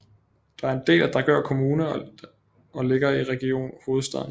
Den er en del af Dragør Kommune og ligger i Region Hovedstaden